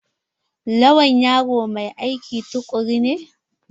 Lawal yaro mai aiki tukuru ne?